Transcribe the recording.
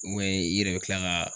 i yɛrɛ bi kila ka